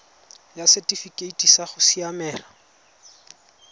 ya setifikeite sa go siamela